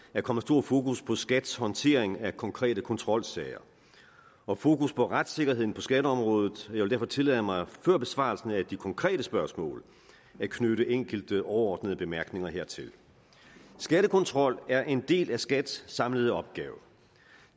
er kommet stor fokus på skats håndtering af konkrete kontrolsager og fokus på retssikkerheden på skatteområdet jeg vil derfor tillade mig før besvarelsen af de konkrete spørgsmål at knytte enkelte overordnede bemærkningerne hertil skattekontrol er en del af skats samlede opgaver